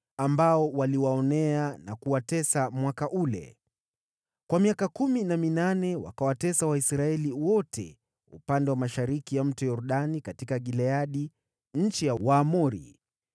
ambao waliwaonea na kuwatesa mwaka ule. Kwa miaka kumi na minane wakawatesa Waisraeli wote upande wa mashariki ya Mto Yordani katika Gileadi, nchi ya Waamori.